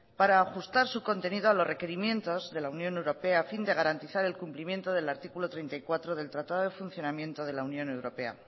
para ajustar su contenido a los requerimientos de la unión europea a fin de garantizar el cumplimiento del artículo treinta y cuatro del tratado de funcionamiento de la unión europea